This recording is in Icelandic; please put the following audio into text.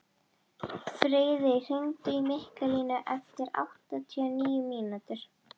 Friðey, hringdu í Mikkalínu eftir áttatíu og níu mínútur.